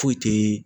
Foyi te